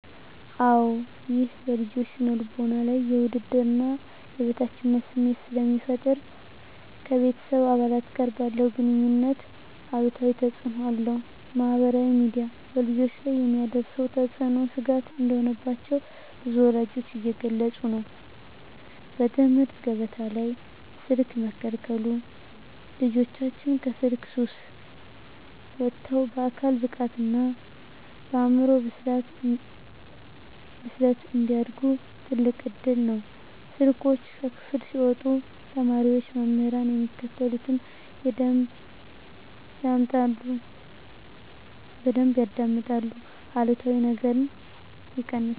-አወ ይህም በልጆች ስነ ልቦና ላይ የውድድርና የበታችነት ስሜት ስለሚፈጠር ... ከቤተሰብ አባላት ጋር ባለ ግኑኝነት አሉታዊ ተፅእኖ አለው። -ማኅበራዊ ሚዲያ በልጆች ላይ የሚያሳድረው ተጽዕኖ ስጋት እንደሆነባቸው ብዙ ወላጆች እየገለጹ ነው። -በትምህርት ገበታ ላይ ስልክ መከልከሉ ልጆቻችን ከስልክ ሱስ ወጥተው በአካል ብቃትና በአእምሮ ብስለት እንዲያድጉ ትልቅ እድል ነው። ስልኮች ከክፍል ሲወጡ ተማሪዎች መምህራን የሚሉትን በደንብ ያዳምጣሉ አሉታዊ ነገርም ይቀንሳል።